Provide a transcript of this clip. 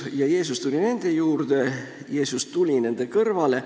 Ja Jeesus tuli nende juurde, Jeesus tuli nende kõrvale.